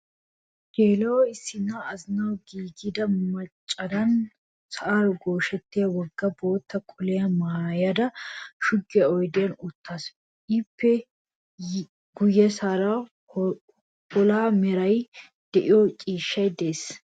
Geela"o issinna azinawu giigida machchodan sa'aara gooshettiya wogga bootta qoliya maayada shuggiya oydiyan uttaasu. Ippe guyyessan wolaha meraara de'iya ciishshay de'es.